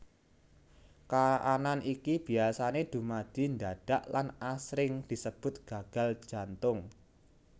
Kaanan iki biasané dumadi ndadak lan asring disebut gagal jantung